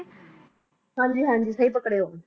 ਹਾਂਜੀ ਹਾਂਜੀ ਸਹੀ ਪਕੜੇ ਹੋ।